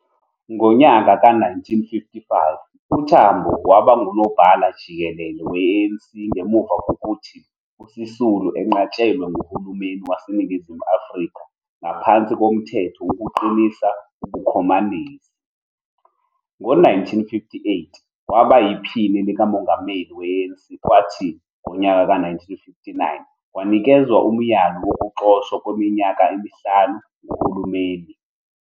Ngonyaka ka-1955, uTambo waba nguNobhala-Jikelele we-ANC ngemuva kokuthi uSisulu enqatshelwe nguhulumeni waseNingizimu Afrika ngaphansi koMthetho Wokuqinisa Ubukhomanisi. Ngo-1958, waba yiPhini likaMongameli we-ANC kwathi ngonyaka ka-1959 wanikezwa umyalo wokuxoshwa kweminyaka emihlanu nguhulumeni.